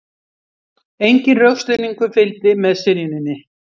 Enginn rökstuðningur fylgdi með synjuninni